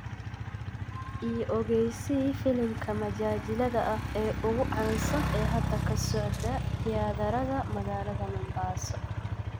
i ogeysii filimka majaajilada ah ee ugu caansan ee hadda ka socda tiyaatarada magaalada mombasa